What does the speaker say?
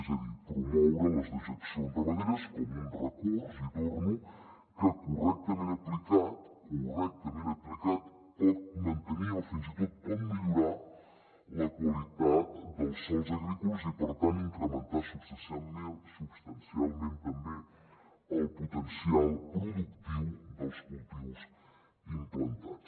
és a dir promoure les dejeccions ramaderes com un recurs hi torno que correctament aplicat pot mantenir o fins i tot pot millorar la qualitat dels sòls agrícoles i per tant incrementar substancialment també el potencial productiu dels cultius implantats